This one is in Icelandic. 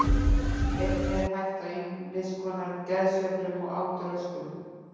Einnig er hætt á ýmis konar geðsveiflum og átröskunum.